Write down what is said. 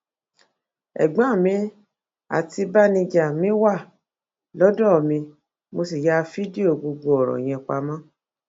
ẹgbọn mi àti báníjà mi wà lọdọ mi mo sì ya fídíò gbogbo ọrọ yẹn pamọ